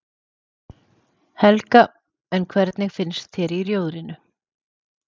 Helga: En hvernig finnst þér í Rjóðrinu?